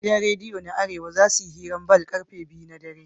Gidan rediyo na arewa zasuyi hirar ball karfe biyu na dare